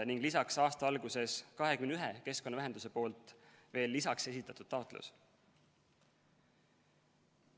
Lisaks on veel aasta alguses 21 keskkonnaühenduse esitatud taotlus.